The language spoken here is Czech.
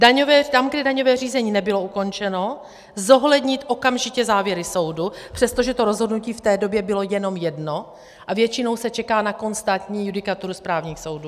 Tam, kde daňové řízení nebylo ukončeno, zohlednit okamžitě závěry soudu, přestože to rozhodnutí v té době bylo jenom jedno a většinou se čeká na konstantní judikaturu správních soudů.